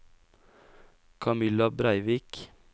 Camilla Breivik